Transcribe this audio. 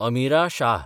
Amira Shah